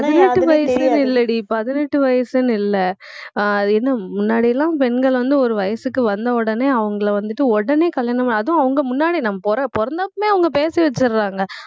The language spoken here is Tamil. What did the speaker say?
பதினெட்டு வயசுன்னு இல்லைடி பதினெட்டு வயசுன்னு இல்லை அஹ் அது என்ன முன்னாடி எல்லாம் பெண்கள் வந்து ஒரு வயசுக்கு வந்த உடனே அவங்கள வந்துட்டு உடனே கல்யாணம் அதுவும் அவங்க முன்னாடி நாம பிற~ பிறந்தப்பவே அவங்க பேச வச்சிடறாங்க